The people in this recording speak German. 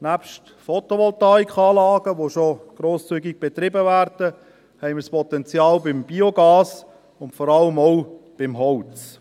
Nebst Photovoltaikanlagen, die schon grosszügig betrieben werden, haben wir Potenzial beim Biogas und vor allem auch beim Holz.